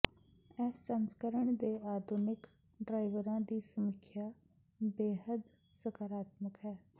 ਇਸ ਸੰਸਕਰਣ ਦੇ ਆਧੁਨਿਕ ਡ੍ਰਾਈਵਰਾਂ ਦੀ ਸਮੀਖਿਆ ਬੇਹੱਦ ਸਕਾਰਾਤਮਕ ਹੈ